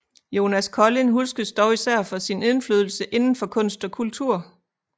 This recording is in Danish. Jonas Collin huskes dog især for sin indflydelse inden for kunst og kultur